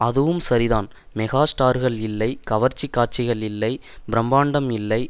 அதுவும் சரிதான் மெகா ஸ்டார்கள் இல்லை கவர்ச்சி காட்சிகள் இல்லை பிரமாண்டம் இல்லை